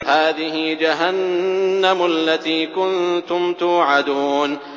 هَٰذِهِ جَهَنَّمُ الَّتِي كُنتُمْ تُوعَدُونَ